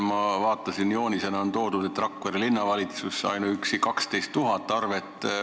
Ma vaatasin joonist, selgus, et ainuüksi Rakvere Linnavalitsusel on 12 000 arvet.